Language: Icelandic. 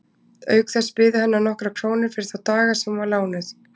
Auk þess biðu hennar nokkrar krónur fyrir þá daga sem hún var lánuð.